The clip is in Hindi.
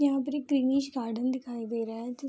यहाँ पर एक ग्रीनिश गार्डन दिखाई दे रहा है जि --